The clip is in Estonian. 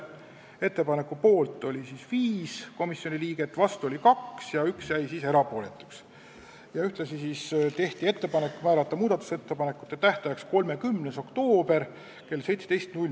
Ühtlasi tehti konsensuslik ettepanek määrata muudatusettepanekute tähtajaks 30. oktoober kell 17.